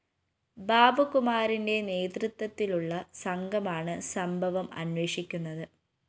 ബാബുകുമാറിന്റെ നേതൃത്വത്തിലുള്ള സംഘമാണ് സംഭവം അന്വേഷിക്കുന്നത്